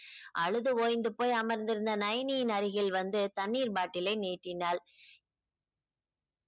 அழுது ஓய்ந்து போய் அமர்ந்திருந்த ந்யனியின் அருகில் வந்து தண்ணீர் bottle ஐ நீட்டினாள்